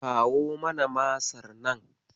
Kawo mana Masar nan.